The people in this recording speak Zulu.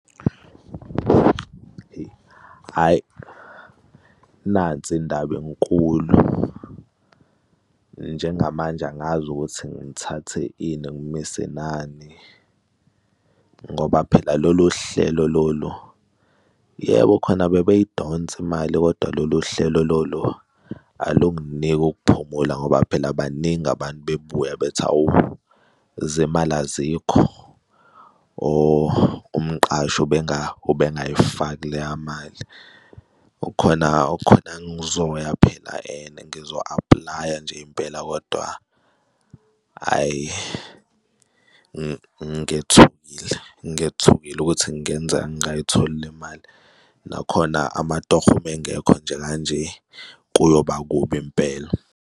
Ihe, hhayi, nansi indaba inkulu, njengamanje angazi ukuthi ngithathe ini, ngimise nani ngoba phela lolu hlelo lolu, yebo, khona bebeyidonsa imali, kodwa lolu hlelo lolu alunginiki ukuphumula ngoba phela baningi abantu bebuya bethi awu, izimali azikho or umqashi ubengayifaki leya mali. Khona khona ngizoya phela and ngizo aplaya nje impela, kodwa hhayi, ngethukile, ngethukile ukuthi ngenzeka ngayitholi le mali. Nakhona amatoho mengekho nje kanje kuyoba kubi impela.